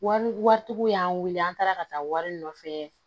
Wari waritigi y'an weele an taara ka taa wari nɔfɛ